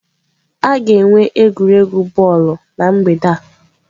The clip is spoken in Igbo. A ga-enwe egwuregwu bọọlụ na mgbede a.